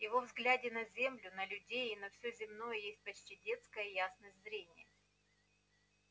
его взгляде на землю на людей и на всё земное есть почти детская ясность зрения